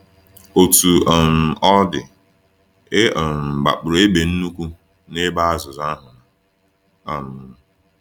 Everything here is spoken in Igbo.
Otú um ọ dị, e um gbapụrụ egbe nnukwu n’ebe azụ azụ ahụ nọ. um